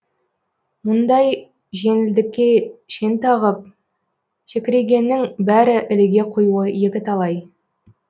мұндай жеңілдікке шен тағып шекірейгеннің бәрі іліге қоюы екіталай